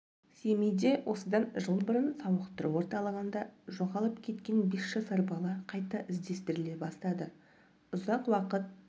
семейде осыдан жыл бұрын сауықтыру орталығында жоғалып кеткен бес жасар бала қайта іздестіріле бастады ұзақ уақыт